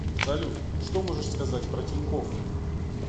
салют что можешь сказать про тинькофф